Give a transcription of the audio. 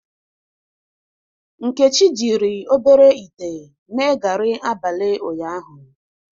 Nkechi jiri obere ite mee gari abalị ụnyaahụ.